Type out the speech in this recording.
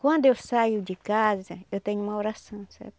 Quando eu saio de casa, eu tenho uma oração, sabe?